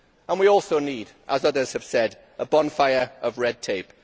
We also need, as others have said, a bonfire of red tape.